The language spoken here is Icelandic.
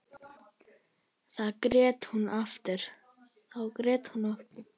Þá grét hún aftur.